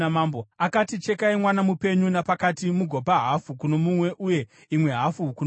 Akati, “Chekai mwana mupenyu napakati mugopa hafu kuno mumwe uye imwe hafu kuno mumwe.”